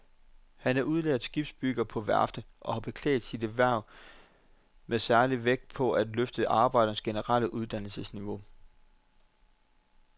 Han er udlært skibsbygger på værftet og har beklædt sit hverv med særlig vægt på at få løftet arbejdernes generelle uddannelsesniveau.